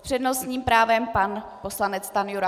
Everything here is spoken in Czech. S přednostním právem pan poslanec Stanjura.